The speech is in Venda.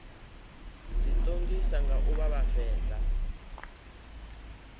ḓiṱongisa nga u vha vhavenḓa